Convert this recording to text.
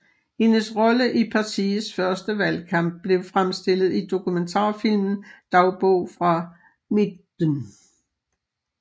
Hendes rolle i partiets første valgkamp blev fremstillet i dokumentarfilmen Dagbog fra Midten